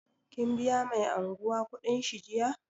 Ka biya mai anguwa kuɗin shi jiya?